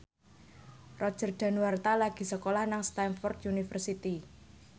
Roger Danuarta lagi sekolah nang Stamford University